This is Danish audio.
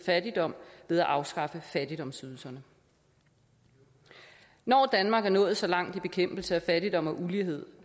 fattigdommen ved at afskaffe fattigdomsydelserne når danmark er nået så langt i bekæmpelsen af fattigdom og ulighed